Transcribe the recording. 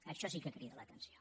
això sí que crida l’atenció